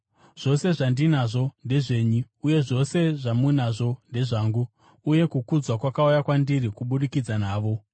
Zvose zvandinazvo ndezvenyu, uye zvose zvamunazvo ndezvangu. Uye kukudzwa kwakauya kwandiri kubudikidza navo.